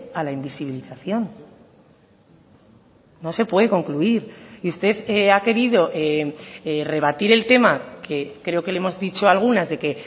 a la invisibilización no se puede concluir y usted ha querido rebatir el tema que creo que le hemos dicho algunas de que